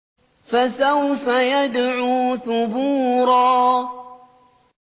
فَسَوْفَ يَدْعُو ثُبُورًا